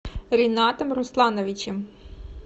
ринатом руслановичем